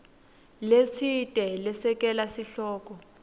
letsite lesekela sihloko